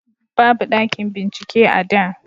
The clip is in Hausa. babu ɗakin bincike a da